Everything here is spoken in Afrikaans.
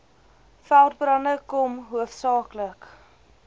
veldbrande kom hoofsaaklik